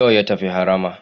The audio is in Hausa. Yau ya tafi harama.